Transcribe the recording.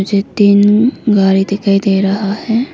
ये तीन गाड़ी दिखाई दे रहा है।